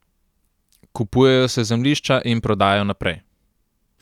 Kupujejo se zemljišča in prodajajo naprej.